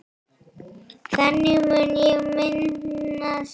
Þannig mun ég minnast þín.